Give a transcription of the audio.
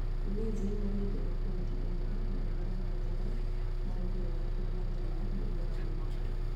Ulinzi marĩ thĩ mena bointi ĩmwe na marabatara maumĩrĩra kũmagĩrĩra nĩguo mathiĩ na mbere.